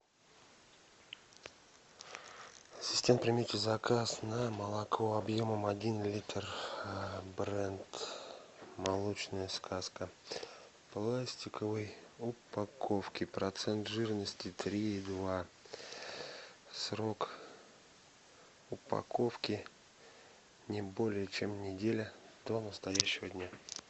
ассистент примите заказ на молоко объемом один литр бренд молочная сказка в пластиковой упаковке процент жирности три и два срок упаковки не более чем неделя до настоящего дня